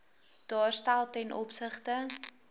daarstel ten opsigte